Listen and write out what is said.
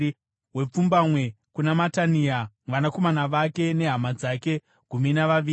wepfumbamwe kuna Matania, vanakomana vake nehama dzake—gumi navaviri;